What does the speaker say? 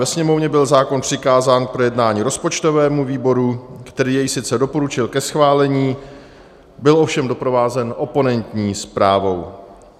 Ve Sněmovně byl zákon přikázán k projednání rozpočtovému výboru, který jej sice doporučil ke schválení, byl ovšem doprovázen oponentní zprávou.